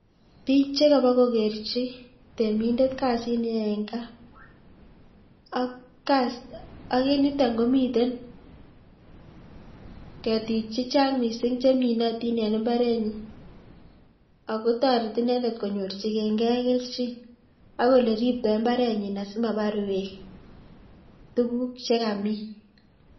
Biik chekobo kokerchi temindet kasit neyoe en kaa ak en yuton komiten ketik chechang mising cheminotin en imbarenyin ak kotoreti inendet konyorchineng'e kelchin ak oleribto imbarenyin asimabar beek tukuk chekamin.